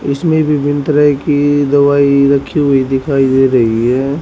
इसमें विभिन्न तरह की दवाई रखी हुई दिखाई दे रही है।